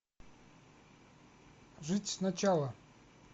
жить сначала